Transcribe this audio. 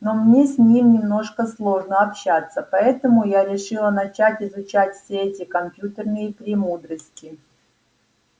но мне с ним немножко сложно общаться поэтому я решила начать изучать все эти компьютерные премудрости